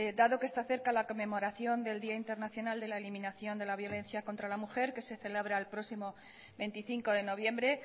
dado que está cerca la conmemoración del día internacional de la eliminación de la violencia contra la mujer que se celebra el próximo veinticinco de noviembre